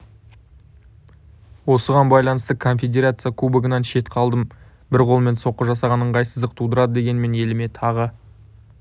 осыған байланысты конфедерация кубогынан шет қалдым бір қолмен соққы жасаған ыңғайсыздық тудырды дегенмен еліме тағы